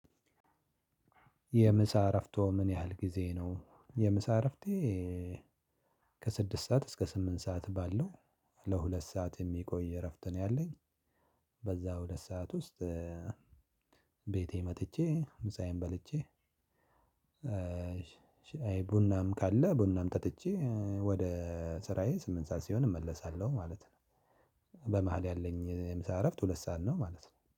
የምሳ እረፍቶ ምን ያህል ጊዜ ነው? የምሳ እረፍቴ ከስድስት ሰዓት እስከ ስምንት ሰዓት ባለው ለሁለት ሰዓት የሚቆይ እረፍት ነው ያለኝ በዛ ሁለት ሰዓት ውስጥ ቤቴ መጥቼ ምሳዬን በልቼ ቡናም ካለ ቡናም ጠጥቼ ወደ ስራዬ ስምንት ሰዓት ሲሆን እመለሳለሁ ማለት ነው። በመሃል ያለኝ የምሳ እረፍት ሁለት ሰዓት ነው ማለት ነው